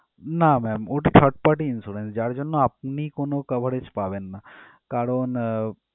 না ma'am ওটা third-party insurance যার জন্য আপনি কোন coverage পাবেন না। কারণ